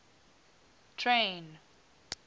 train